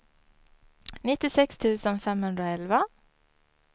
nittiosex tusen femhundraelva